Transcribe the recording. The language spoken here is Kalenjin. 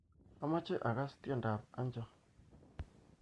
Amache akass tiendoab Hanjam